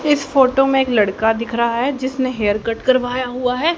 इस फोटो में एक लड़का दिख रहा है जिसने हेयर कट करवाया हुआ है।